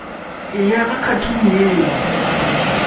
ya ka khathuni ye yo